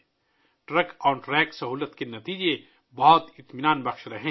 truck on track سہولت کے نتائج بہت تسلی بخش رہے ہیں